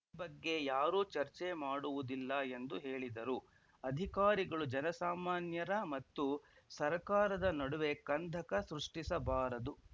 ಈ ಬಗ್ಗೆ ಯಾರೂ ಚರ್ಚೆ ಮಾಡುವುದಿಲ್ಲ ಎಂದು ಹೇಳಿದರು ಅಧಿಕಾರಿಗಳು ಜನಸಾಮಾನ್ಯರ ಮತ್ತು ಸರ್ಕಾರದ ನಡುವೆ ಕಂದಕ ಸೃಷ್ಟಿಸಬಾರದು